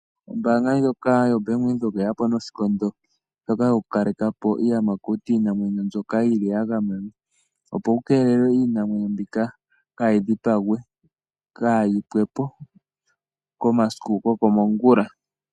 Ombaanga ndjoka yo bank Windhoek oyeya po noshikondo shoka shoku kalekapo iiyamakuti, iinamwenyo mboka yili ya gamenwa opo ku keelelwe iinamwenyo mbika kaayi dhipangwe, kaayi pwepo komasiku go komongula.